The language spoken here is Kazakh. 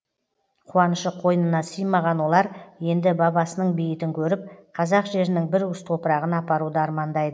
қуанышы қойынына сыймаған олар енді бабасының бейітін көріп қазақ жерінің бір уыс топырағын апаруды армандайды